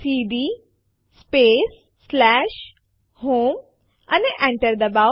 સીડી space home અને Enter ડબાઓ